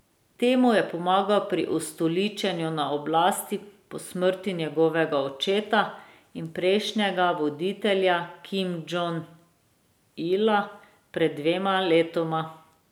Temu je pomagal pri ustoličenju na oblasti po smrti njegovega očeta in prejšnjega voditelja Kim Džong Ila pred dvema letoma.